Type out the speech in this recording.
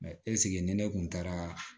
Mɛ ɛseke ni ne kun taara